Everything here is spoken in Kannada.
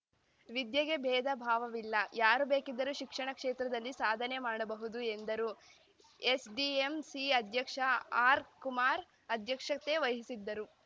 ವಿದ್ಯೆಗೆ ಬೇಧ ಭಾವವಿಲ್ಲ ಯಾರು ಬೇಕಿದ್ದರು ಶಿಕ್ಷಣ ಕೇತ್ರದಲ್ಲಿ ಸಾಧನೆ ಮಾಡಬಹುದು ಎಂದರು ಎಸ್‌ಡಿಎಂಸಿ ಅಧ್ಯಕ್ಷ ಆರ್‌ಕುಮಾರ್ ಅಧ್ಯಕ್ಷತೆ ವಹಿಸಿದ್ದರು